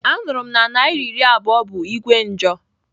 Anuru m na naira iri abuo bu Igwe njo.